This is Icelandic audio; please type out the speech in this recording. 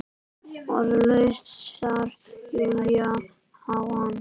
Orðlaus starir Júlía á hana.